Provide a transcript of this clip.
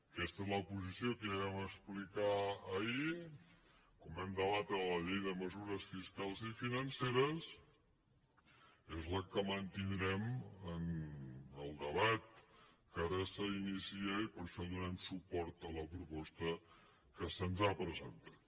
aquesta és la posició que ja vam explicar ahir quan vam debatre la llei de mesures fiscals i financeres és la que mantindrem en el debat que ara s’inicia i per això donem suport a la proposta que se’ns ha presentat